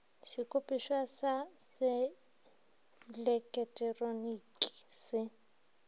sekopišwa sa se eleketeroniki se